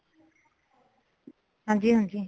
ਹਾਂਜੀ ,ਹਾਂਜੀ।